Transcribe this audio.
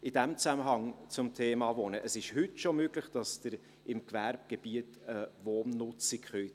In diesem Zusammenhang etwas zum Thema Wohnen: Es ist heute schon möglich, dass Sie im Gewerbegebiet eine Wohnnutzung machen können.